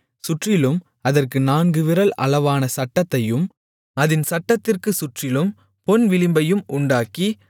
சுற்றிலும் அதற்கு நான்கு விரல் அளவான சட்டத்தையும் அதின் சட்டத்திற்குச் சுற்றிலும் பொன் விளிம்பையும் உண்டாக்கி